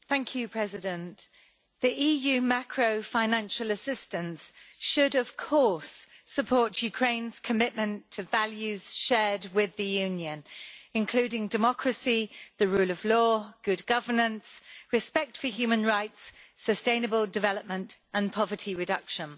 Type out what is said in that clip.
Madam President, EU macrofinancial assistance should, of course, support Ukraine's commitment to values shared with the Union, including democracy, the rule of law, good governance, respect for human rights, sustainable development and poverty reduction.